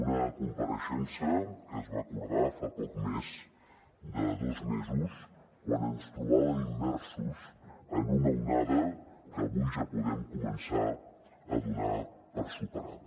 una compareixença que es va acordar fa poc més de dos mesos quan ens trobàvem immersos en una onada que avui ja podem començar a donar per superada